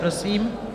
Prosím.